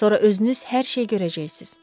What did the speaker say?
Sonra özünüz hər şeyi görəcəksiz.